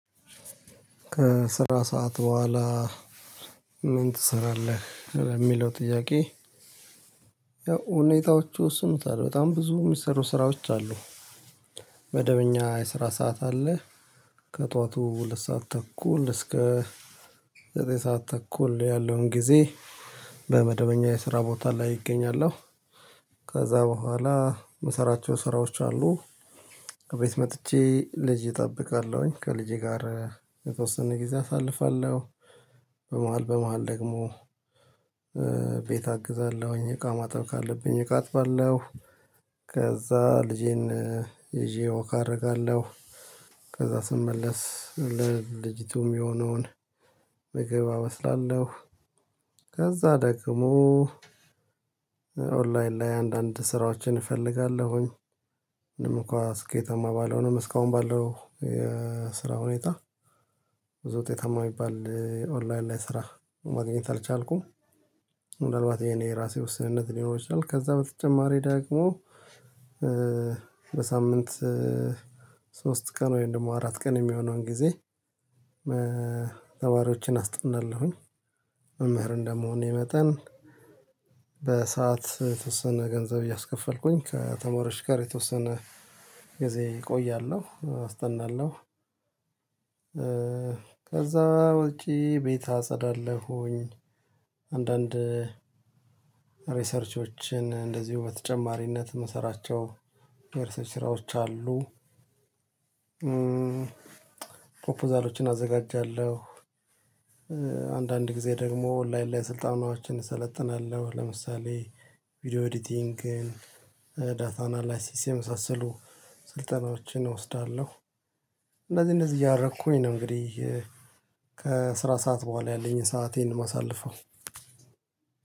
ከስራ ሰዓት በኋላ ምን ትሰራለህ የሚለው ጥያቄ? ያው ሁኔታዎቹ ይወስኑታል በጣም ብዙ የሚሰሩ ስራዎች አሉ። መደበኛ የስራ ሰዓት አለ። ከጧቱ ሁለት ሰዓት ተኩል እስከ ዘጠኝ ሰዓት ተኩል ያለውን ጊዜ በመደበኛ የስራ ቦታ ላይ እገኛለሁ። ከዛ በኋላ የምሰራቸው ስራዎች አሉ። ከቤት መጥቼ ልጅ እጠብቃለሁኝ ከልጄ ጋር የተወሰነ ጊዜ አሳልፋለሁ። በመሃል በመሃል ደግሞ ቤት አግዛለሁኝ እቃ ማጠብ ካለብኝ እቃ አጥባለሁ። ከዛ ልጄን ይዤው ዎክ አረጋለሁ። ከዛ ስመለስ ለልጅቱም የሚሆነውን ምግብ አበስላለሁ። ከዛ ደግሞ ኦንላይን ላይ አንዳንድ ስራዎችን እፈልጋለሁኝ። ምንም እንኳን ስኬታማ ባለሆንም እስካሁን ባለው የስራ ሁኔታ። ብዙ ውጤታማ የሚባል ኦንላይን ላይ ስራ ማግኘት አልቻልኩም። ምናልባት የኔ የራሴ ውስንነት ሊኖር ይችላል። ከዛ በተጨማሪ ደግሞ በሳምንት ሶስት ቀን ወይም ደግሞ አራት ቀን የሚሆነውን ጊዜ ተማሪዎችን አስጥናለሁኝ። መምህር እንደምሆን መጠን። በሰአት የተወሰነ ገንዘብ እያስከፈልኩኝ ከተማሪዎች ጋር የተወሰነ ጊዜ እቆያለሁ አስጠናለሁ። ከዛ ውጪ ቤት አጸዳለሁኝ። አንዳንድ ሪሰርቾችን እንደዚሁ በተጨማሪነት የሚሰራቸው የሪሰርች ስራዎች አሉ። ፕሮፖዛሎችን አዘጋጃለሁ። አንዳንድ ጊዜ ደግሞ ኦንላይን ለይ ስልጠናዎችን እሰለጥናለሁ። ለምሳሌ ቪዲዮ ኤዲቲንግ ዳታ አናላይሲስ የመሳሰሉ ስልጠናዎችን እወስዳለሁ። እንደዚህ እንደዚህ እያደረኩኝ ነው። እንግዲህ ከስራ ሰዓት በኋላ ያለኝን ሰአቴን የማሳለፍው።